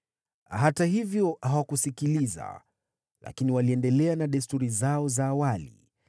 Hata hivyo hawakusikiliza, lakini waliendelea na desturi zao za awali.